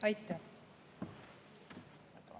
Aitäh!